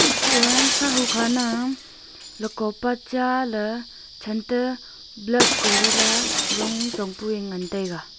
sah hu kana luka pa cha ley chan ta blood kori la jong chong pue ngan tai ga.